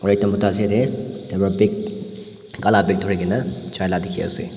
aru ekta mota ase ite aru bag kala bag durigena jaila dikhi ase.